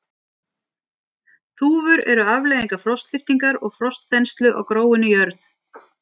Þúfur eru afleiðingar frostlyftingar og frostþenslu á gróinni jörð.